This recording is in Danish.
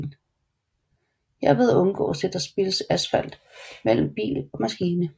Herved undgås det at der spildes asfalt mellem bil og maskine